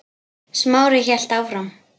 Smári hélt áfram.